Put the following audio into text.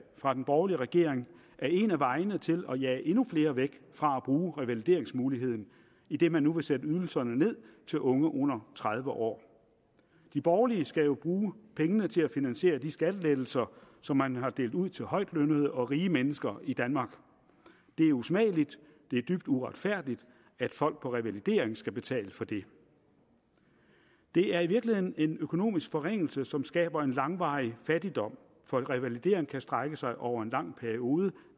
fra den borgerlige regering er en af vejene til at jage endnu flere væk fra at bruge revalideringsmuligheden idet man nu vil sætte ydelserne ned til unge under tredive år de borgerlige skal jo bruge pengene til at finansiere de skattelettelser som man har delt ud til højtlønnede og rige mennesker i danmark det er usmageligt det er dybt uretfærdigt at folk på revalidering skal betale for det det er i virkeligheden en økonomisk forringelse som skaber en langvarig fattigdom for revalidering kan strække sig over en lang periode og